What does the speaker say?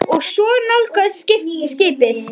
Og svo nálgast skipið.